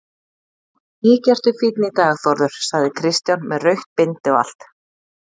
Mikið ertu fínn í dag Þórður, sagði Kristján, með rautt bindi og allt.